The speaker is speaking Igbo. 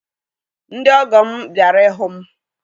Ndị ọgọ m bịara ịhụ m